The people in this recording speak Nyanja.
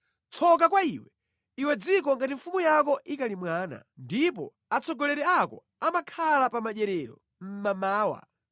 Tsoka kwa iwe, iwe dziko ngati mfumu yako ikali mwana, ndipo atsogoleri ako amakhala pa madyerero mmamawa.